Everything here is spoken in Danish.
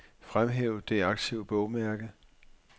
Fremhæv det aktive bogmærke.